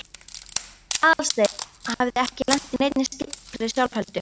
Aðalsteinn hafði ekki lent í neinni slíkri sjálfheldu.